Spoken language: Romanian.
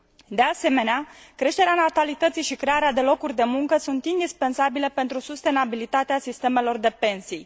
De asemenea, creșterea natalității și crearea de locuri de muncă sunt indispensabile pentru sustenabilitatea sistemelor de pensii.